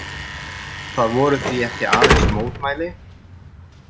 Þetta voru því ekki aðeins mótmæli.